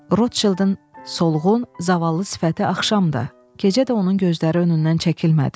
Rotşeldin solğun, zavallı sifəti axşam da, gecə də onun gözləri önündən çəkilmədi.